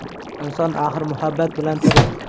Inson axir muhabbat bilan tirik.